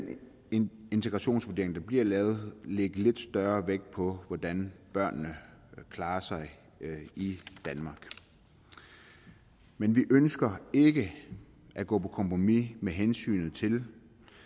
integrationsvurdering der bliver lavet lægge lidt større vægt på hvordan børnene klarer sig i danmark men vi ønsker ikke at gå på kompromis med hensyn til